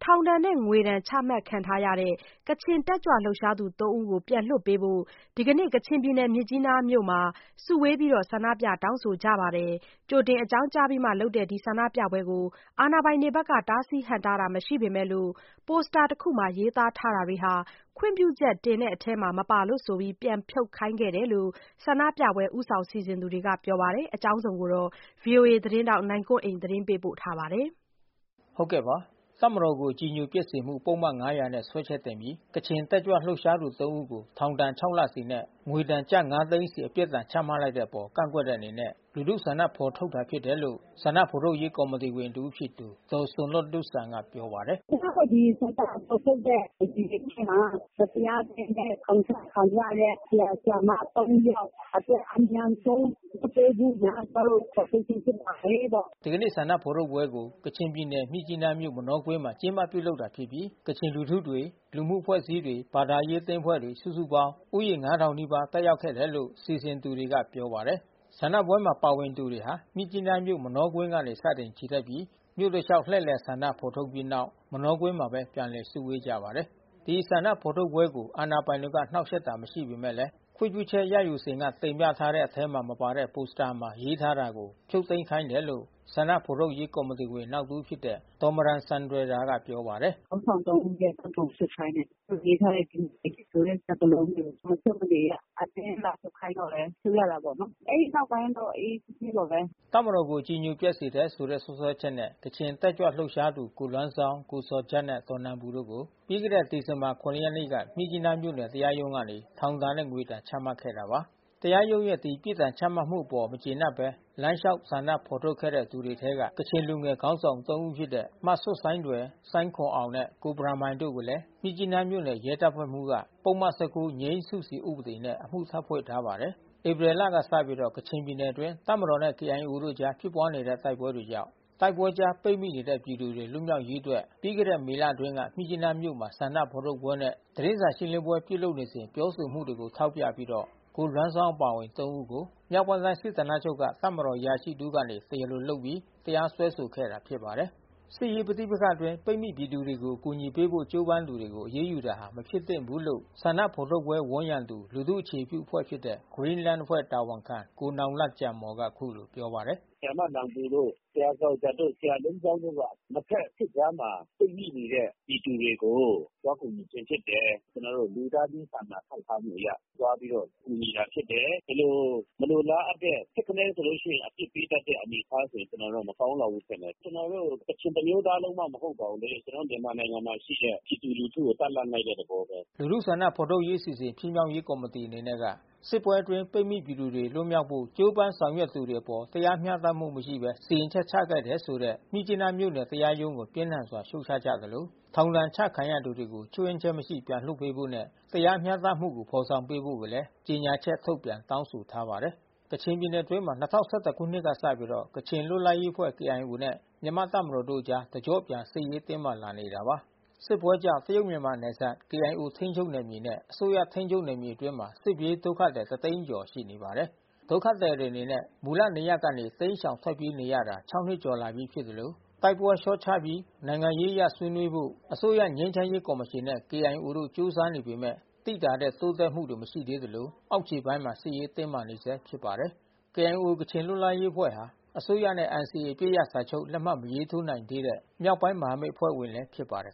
ောင်ဒဏ်နဲ့ ငွေဒဏ် ချမှတ်ခံထားရတဲ့ ကချင်တက်ကြွလှုပ်ရှားသူသုံးဦးကို ပြန်လွှတ်ပေးဖို့ ဒီကနေ့ မြစ်ကြီးနားမြို့ မှာ စုဝေးပြီးဆန္ဒပြတောင်းဆိုကြပါတယ်။ ကြိုတင်အကြောင်းကြားပြီးမှ လုပ်တာဖြစ်တဲ့ ဒီဆန္ဒပြပွဲကို အာဏာပိုင်တွေ က တားဆီးဟန့်တားတာ မရှိပေမယ့် ပိုစတာတခုမှာ ရေးသားထားတာဟာ ခွင့်ပြုချက်တင်တဲ့ထဲမှာ မပါလို့ဆိုပြီး ပြန်ဖြုတ်ခိုင်းတယ်လို့ ဆန္ဒပြပွဲ ဦးဆောင် စီစဉ်သူတွေက ပြောပါတယ်။ ဒီအကြောင်း ဗွီအိုအေသတင်းထောက် နိုင်ကွန်းအိန်က သတင်းပေးပို့ထားပါတယ်။ တပ်မတော်ကို အကြည်ညိုပျက်စေမှု ပုဒ်မ ၅၀၀ နဲ့ စွဲချက်တင်ပြီး ကချင်တက်ကြွလှုပ်ရှားသူ ၃ ဦးကို ထောင်ဒဏ် ၆ လစီ နဲ့ ငွေဒဏ် ကျပ် ၅ သိန်းစီ ပြစ်ဒဏ်ချမှတ်ထားတဲ့အပေါ် ကန့်ကွက်တဲ့ အနေနဲ့ လူထုဆန္ဒဖော်ထုတ် တာဖြစ်တယ်လို့ ဆန္ဒ ဖော်ထုတ်ရေးကော်မီတီဝင်တဦးဖြစ်သူက ဒေါ်ဆွမ်လွတ်လုဆန်က ပြောပါတယ်။ “ကျွန်မတို့ဒီဆန္ဒဖေါ်ထုတ်တဲ့ အစီစဉ်ထဲမှာ မတရားဘဲနဲ့ထောင်ကျခံရတဲ့ ဆရာ ဆရာမ ယောက်အတွက် အမြန် ဆုံး လွှတ်ပေးဖို့ရန် ကျွန်မတို့ဖေါ်ထုတ်ခြင်းဖြစ်ပါတယ်ပေါ့။” ဒီကနေ့ဆန္ဒဖော်ထုတ်ပွဲကို ကချင်ပြည်နယ် မြစ်ကြီးနားမြို့၊ မနောကွင်းမှာ ကျင်းပပြုလုပ်တာဖြစ်ပြီး ကချင်လူထု တွေ၊ လူမှုအဖွဲ့အစည်းတွေ၊ ဘာသာရေးအသင်းအဖွဲ့ဝင်တွေ စုစုပေါင်း ဦးရေ ၅၀၀၀ နီးပါး တက်ရောက်တယ်လို့ စီစဉ်သူတွေက ပြောပါတယ်။ ဆန္ဒပြပွဲမှာပါဝင်သူတွေဟာ မြစ်ကြီးနားမြို့ မနောကွင်းကနေစတင်ချီတက်ပြီး မြို့တလျှောက်လှည့်လည်ဆန္ဒထုတ် ဖော်ပြီးတဲ့နောက် မနောကွင်းမှာပဲ ပြန်လည်စုဝေးကြပါတယ်။ ဒီဆန္ဒဖော်ထုတ်ပွဲကို အာဏာပိုင်တွေက နှောက်ယှက်တာမရှိပေမဲ့လဲ ခွင့်ပြုချက်ရယူစဉ်က တင်ပြထားတဲ့ထဲမှာ မပါတဲ့ ပိုစတာမှာ ရေးသားထားတာကို ဖြုတ်သိမ်းခိုင်းတယ်လို့ ဆန္ဒဖော်ထုတ်ရေး ကော်မတီဝင် နောက်တဦးဖြစ် တဲ့ ဒေါ်မရန်ဆန်တွယ်ရာက ပြောပါတယ်။ “ခေါင်းဆောင်၃)ဦးရဲ့ဓါတ်ပုံဖြုတ်ခိုင်းတယ်။ ပြီးလို့ရှိရင် ရေးထားတဲ့ဒီမိုကရေစီဆိုတဲ့စကားလုံးကို မဖြုတ်မနေရ အတင်းလာဖြုတ်ခိုင်းတော့လဲ ဖြုတ်ရတာပေါ့နော်။ အဲဒီနောက်ပိုင်းတော့အေးအေးဆေးဆေးပါဘဲ။” တပ်မတော်ကို အကြည်ညိုပျက်စေတယ်ဆိုတဲ့ စွဲချက်နဲ့ ကချင်တက်ကြွလှုပ်ရှားသူ ကိုလွမ်းဇောင်း၊ ကိုဇော်ဂျတ်နဲ့ ဒေါ်နန်ပူတို့ ကို ပြီးခဲ့တဲ့ ဒီဇင်ဘာလ ၇ ရက်နေ့မှာ မြစ်ကြီးနားမြို့နယ် တရားရုံးကနေ ထောင်ဒဏ်၊ ငွေဒဏ် ချမှတ် ခဲ့တာပါ။ တရားရုံးရဲ့ အဲဒီပြစ်ဒဏ်ချမှတ်မှုအပေါ် မကျေနပ်ဘဲ လမ်းလျှောက် ဆန္ဒထုတ်ဖော်ခဲ့တဲ့သူတွေထဲက ကချင်လူငယ် ခေါင်းဆောင် ၃ ဦးဖြစ်တဲ့ မဆွယ်ဆိုင်းထွယ်၊ ဆိုင်းခွမ်အောင်နဲ့ ကိုဘရန်မိုင်တို့ကိုလည်း မြစ်ကြီးနားမြို့နယ် ရဲတပ် ဖွဲ့မှူးက ပုဒ်မ ၁၉ ငြိမ်းစုစီ ဥပဒေနဲ့ အမှုထပ်ဖွင့်ထားပါတယ်။ ဧပြီလကစပြီး ကချင်ပြည်နယ်အတွင်း တပ်မတော်နဲ့ကေအိုင်အေတို့အကြားဖြစ်ပွားနေတဲ့တိုက်ပွဲတွေကြောင့် တိုက်ပွဲကြားပိတ်မိနေတဲ့ပြည်သူတွေ လွတ်မြောက်ရေးအတွက် ပြီးခဲ့တဲ့မေလအတွင်း က မြစ်ကြီးနားမြို့ မှာ ဆန္ဒထုတ်ဖော်ပွဲနဲ့ သတင်းစာရှင်းလင်းပွဲပြုလုပ်စဉ် ပြောဆိုမှုတွေကို ထောက်ပြပြီးတော့ ကိုလွမ်းဇောင်းအပါ အဝင် ၃ ဦးကို မြောက် ပိုင်း တိုင်းစစ်ဌာနချုပ်က တပ်မတော်အရာရှိတဦးက တရားလိုလုပ်ပြီး တရားစွဲဆိုခဲ့တာဖြစ်ပါတယ်။ စစ်ရေးပဋိပက္ခအတွင်း ပိတ်မိပြည်သူတွေကို အကူအညီပေးဖို့ကြိုးပမ်းသူတွေကို အရေးယူတာဟာ မဖြစ်သင့်ဘူး လို့ ဆန္ဒ ဖော်ထုတ်ပွဲဝန်းရံသူ လူထုအခြေပြုအဖွဲ့ဖြစ်တဲ့ Green Land အဖွဲ့တာဝန်ခံ ကိုနောင်လတ်ဂျန်မော်က အခုလိုပြောပါတယ်။ “ဆရာမနန်ပူတို့ ဆရာဇော်ဂျတ်တို့ ဆရာလွမ်းဇောင်းတို့က နှစ်ဖက်စစ်ကြားမှာပိတ်မိနေတဲ့ ပြည်သူတွေကို သွား ကူညီခြင်း ဖြစ်တယ်။ ကျွန်တော်တို့လူသားချင်းစာနာထောက်ထားမှုအရ သွားပြီးတော့ကူညီတာဖြစ်တယ်။ ဒီလိုမလို လားအပ်တဲ့ ထစ်ကနဲ ရှိရင် အပြစ်ပေးတတ်တဲ့အနေအထားဆိုရင် ကျွန်တော်တို့ကတော့မကောင်းပါဘူးထင်တယ်။ ကျွန်တော်တို့ ကချင်တမျိုးသားလုံး မှမဟုတ်ပါဘူးလေ။ ကျွန်တော်တို့မြန်မာနိုင်ငံမှာရှိတဲ့ ပြည်သူလူထုကိုတန့် လှန့် လိုက်တဲ့သဘောဘဲ။” လူထုဆန္ဒ ဖော်ထုတ်ရေးအစီအစဉ် ဖြစ်မြောက်ရေးကော်မီတီအနေနဲ့က စစ်ပွဲအတွင်း ပိတ်မိပြည်သူတွေ လွတ် မြောက်ဖို့ ကြိုးပမ်းဆောင်ရွက်သူတွေအပေါ် တရားမျှတမှုမရှိဘဲ စီရင်ချက်ချခဲ့တယ်ဆိုတဲ့ မြစ်ကြီးနားမြို့နယ် တရားရုံးကို ပြင်းထန်စွာ ရှုတ်ချကြသလို ထောင်ဒဏ်ချခံရသူတွေကို ခြွင်းချက်မရှိ ပြန်လွှတ်ပေးဖို့နဲ့ တရားမျှတ မှုကို ဖော်ဆောင်ပေးဖို့လည်း ကြေညာ ချက်ထုတ်ပြန် တောင်းဆိုထားပါတယ်။ ကချင်ပြည်နယ်အတွင်းမှာ ၂၀၁၁ ခုနှစ်ကစပြီး ကချင်လွတ်လပ်ရေးအဖွဲ့KIOနဲ့ မြန်မာ့တပ်မတော်တို့အကြား တကျော့ပြန် စစ်ရေးတင်းမာလာနေတာပါ။ စစ်ပွဲကြောင့် တရုတ်မြန်မာနယ်စပ် KIO ထိန်းချုပ်နယ်မြေနဲ့ အစိုးရထိန်းချုပ်နယ်မြေတွေအတွင်းမှာ စစ်ပြေးဒုက္ခ သည် တသိန်း ကျော်ရှိနေပါတယ်။ ဒုက္ခသည်တွေအနေနဲ့ မူလနေရပ်ကနေ တိမ်းရှောင်ထွက်ပြေးနေရတာ ၆ နှစ်ကျော်လာပြီဖြစ်သလို တိုက်ပွဲလျှော့ ချပြီး နိုင်ငံရေးအရဆွေးနွေးဖို့ အစိုးရငြိမ်းချမ်းရေးကော်မရှင်နဲ့ KIO တို့ ကြိုးစားနေကြပေမဲ့ သိသာတဲ့ တိုးတက်မှု တွေမရှိသေးသလို အောက်ခြေပိုင်းမှာ စစ်ရေးတင်းမာနေဆဲဖြစ်ပါတယ်။ KIO ကချင်လွတ်လပ်ရေးအဖွဲ့ဟာ အစိုးရနဲ့ NCA အပစ်ရပ်စာချုပ် လက်မှတ်မရေးထိုးနိုင်သေးတဲ့ မြောက်ပိုင်း မဟာမိတ် အဖွဲ့ ဝင်လည်း ဖြစ်ပါတယ်